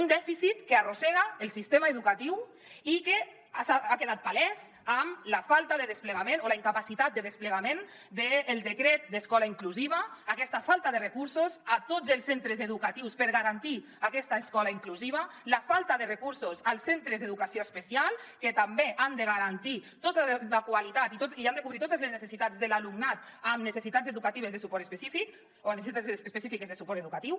un dèficit que arrossega el sistema educatiu i que ha quedat palès amb la falta de desplegament o la incapacitat de desplegament del decret d’escola inclusiva aquesta falta de recursos a tots els centres educatius per garantir aquesta escola inclusiva la falta de recursos als centres d’educació especial que també han de garantir tota la qualitat i han de cobrir totes les necessitats de l’alumnat amb necessitats educatives de suport específic o necessitats específiques de suport educatiu